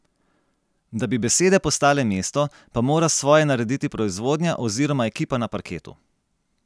Da bi besede postale mesto, pa mora svoje narediti proizvodnja oziroma ekipa na parketu.